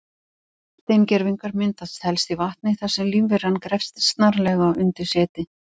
Steingervingar myndast helst í vatni þar sem lífveran grefst snarlega undir seti.